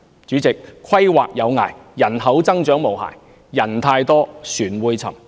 主席，"規劃有涯，而人口增長也無涯"，人太多，船便會沉。